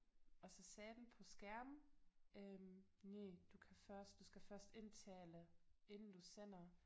Og så sagde den på skærm øh næh du kan først du skal først indtale inden du sender